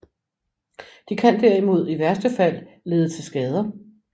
De kan derimod i værste fald lede til skader